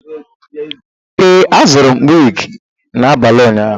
Ee, azụrụ m wig n'abalị ụnyaahụ.